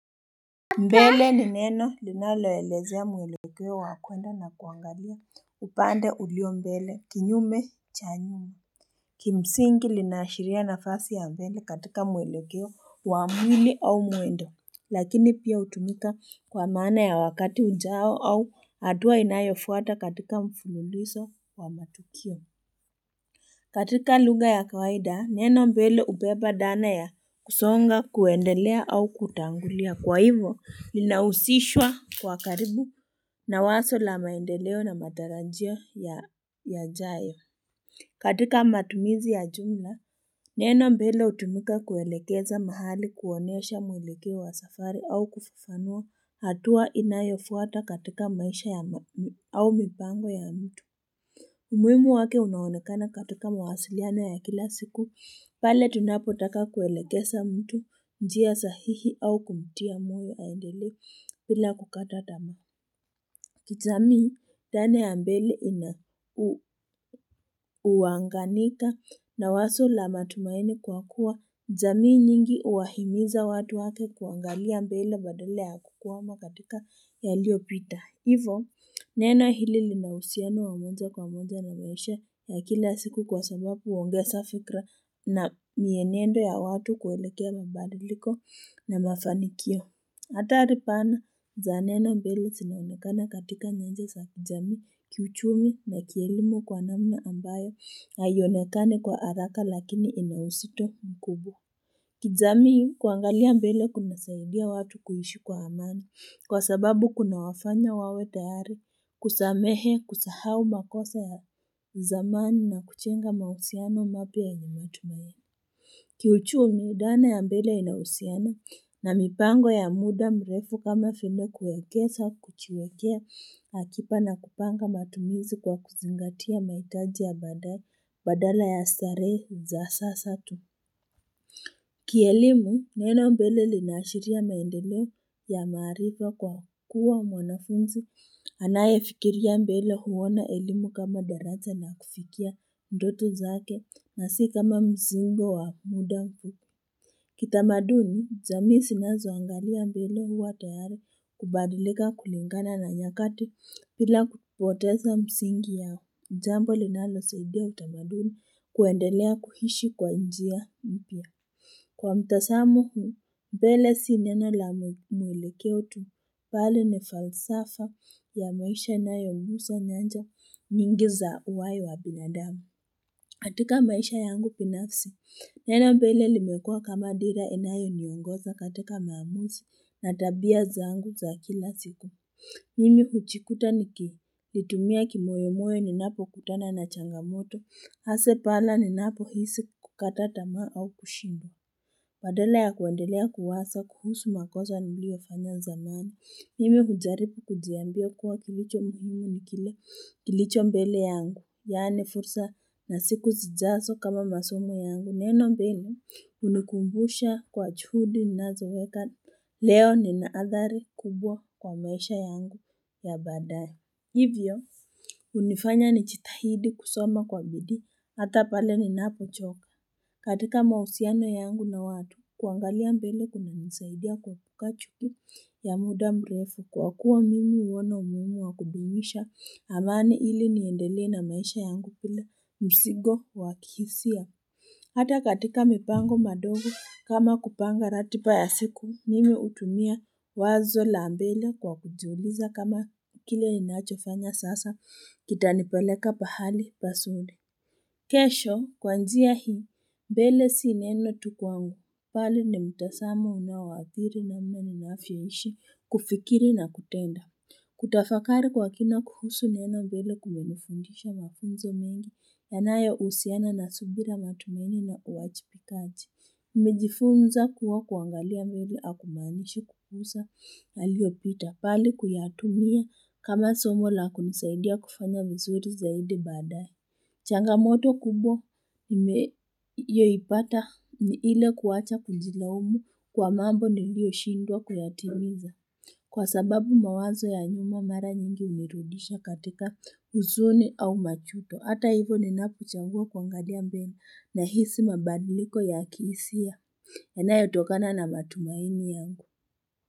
Mbele ni neno linaloelezea mwelekeo wakwenda na kuangalia upande ulio mbele kinyume cha nyuma Kimsingi linaashiria nafasi ya mbele katika mwelekeo wa mwili au mwendo lakini pia hutumika kwa maana ya wakati ujao au hatua inayofuata katika mfululizo wa matukio katika lugha ya kawaida, neno mbele hubeba dana ya kusonga, kuendelea au kutangulia. Kwa hivo, linahusishwa kwa karibu na wazo la maendeleo na matarajio yajayo. Katika matumizi ya jumla, neno mbele hutumika kuelekeza mahali kuonyesha mwelekeo wa safari au kufafanua hatua inayofuata katika maisha au mipango ya mtu. Umuhimu wake unaonekana katika mawasiliano ya kila siku, pale tunapotaka kuelekeza mtu njia sahihi au kumtia moyo aendelee bila kukata tamaa. Kijamii dhana ya mbele ina huanganika na wazo la matumaini kwa kuwa. Jamii nyingi huwahimiza watu wake kuangalia mbele badala ya kukwama katika yaliyo pita. Hivo, neno hili linauhusiano wamoja kwa moja na maisha ya kila siku kwa sababu huongeza fikra na mienendo ya watu kuelekea mabadiliko na mafanikio. Athari pana, za neno mbele zinaonekana katika nyanja za kijamii, kiuchumi na kielimu kwa namna ambayo haionekani kwa haraka lakini ina uzito mkubwa. Kijamii kuangalia mbele kuna saidia watu kuishi kwa amani kwa sababu kuna wafanya wawe tayari kusamehe kusahau makosa ya uzamani na kujenga mahusiano mapya yenye matumani. Kiuchumi dhana ya mbele inauhusiano na mipango ya muda mrefu kama vile kuekeza kujiwekea akiba na kupanga matumizi kwa kuzingatia mahitaji ya badala ya starehe za sasa tu. Kielimu, neno mbele linaashiria maendeleo ya maariko kwa kuwa mwanafunzi. Anaye fikiria mbele huona elimu kama daraja la kufikia ndoto zake na si kama mzigo wa muda Kitamaduni, jamii zinazo angalia mbele huwa tayari kubadilika kulingana na nyakati bila kupoteza msingi ya jambo linalo saidia utamaduni kuendelea kuishi kwa njia mpya. Kwa mtazamo huu, mbele si neno la mwelekeo tu bali ni falsafa ya maisha yanayo gusa nyanja nyingi za uwayo wa binadamu. Katika maisha yangu binafsi, neno mbele limekua kama dira inayo niongoza katika maamuzi na tabia zangu za kila siku. Mimi hujikuta niko, litumia kimoyomoyo ni napo kutana na changamoto, hasa pala ni napo hisi kukata tamaa au kushindwa. Badala ya kuendelea kuwaza kuhusu makosa ni liyo fanya zamani. Nimi hujaribu kujiambia kuwa kilicho muhimu ni kile kilicho mbele yangu. Yaani fursa nasiku zijazo kama masomo yangu. Neno mbele, hunikumbusha kuwa juhudi ninazo weka. Leo nina athari kubwa kwa maisha yangu ya baadaye. Hivyo, hunifanya ni jitahidi kusoma kwa bidii. Hata pale ni napo choka katika mahusiano yangu na watu kuangalia mbele kuna nisaidia kuepuka chuki ya muda mrefu kwa kuwa mimi huona umuhimu wa kudumisha amani ili niendelee na maisha yangu bila mzigo wakihisia. Hata katika mipango madogo kama kupanga ratiba ya siku mimi hutunia wazo la mbele kwa kujiuliza kama kile ninacho fanya sasa kita nipeleka pahali pazuri kesho, kwanjia hii, mbele si neno tu kwangu, bali ni mtazamo unaoathiri namna ninavyoishi, kufikiri na kutenda. Kutafakari kwa kina kuhusu neno mbele kumenifundisha mafunzo mengi, yanayo husiana na subira matumaini na uwajibikaji. Nimejifunza kuwa kuangalia mbele hakumaanishi kugusa, yaliyopita, bali kuyatumia kama somo lakunisaidia kufanya vizuri zaidi baadaye Changamoto kubwa imeyo ipata ni ile kuwacha kujila umu kwa mambo ni lio shindwa kuyatimiza kwa sababu mawazo ya nyuma mara nyingi hunirudisha katika huzuni au majuto. Hata hivo ninapochagua kuangalia mbele na hisi mabadliko ya kihisia yanayo tokana na matumaini yangu.